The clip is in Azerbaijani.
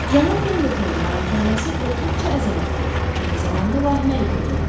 Cənab Pendletonun malikanəsi olduqca əzəmətli, eyni zamanda vahiməli görünürdü.